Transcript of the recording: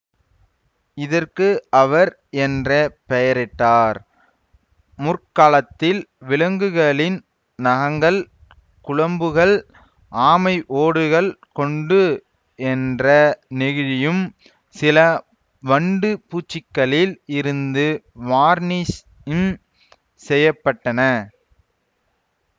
இதற்கு அவர் என்ற பெயரிட்டார் முற்காலத்தில் விலங்குகளின் நகங்கள் குளம்புகள் ஆமை ஓடுகள் கொண்டு என்ற நெகிழியும் சில வண்டு பூச்சிக்களில் இருந்து வார்னிஷும் செய்ய பட்டன